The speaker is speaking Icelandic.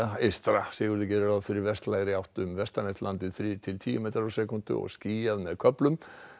eystra Sigurður gerir ráð fyrir vestlægri átt um vestanvert landið þrír til tíu metrar á sekúndu og skýjað með köflum